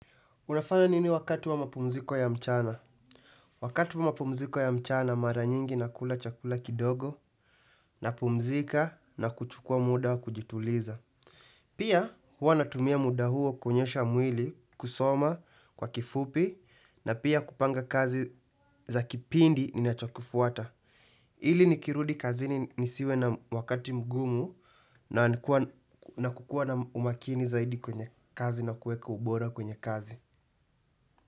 Unafanya nini wakati wa mapumziko ya mchana? Wakati wa mapumziko ya mchana mara nyingi nakula chakula kidogo napumzika na kuchukua muda wa kujituliza. Pia huwa natumia muda huo kunyoosha mwili kusoma kwa kifupi na pia kupanga kazi za kipindi ninachokufuata. Ili nikirudi kazini nisiwe na wakati mgumu na kukua na umakini zaidi kwenye kazi na kueka ubora kwenye kazi.